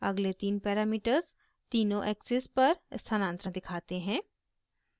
अगले the parameters तीनों axes पर स्थानांतर दिखाते हैं